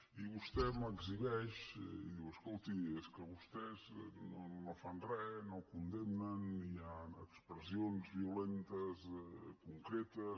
i vostè m’exhibeix i diu escolti és que vostès no fan re no condemnen i hi han expressions violentes concretes